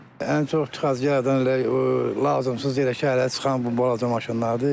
Ən çox tıxac yaradan elə o lazımsız elə şəhərə çıxan bu balaca maşınlardır.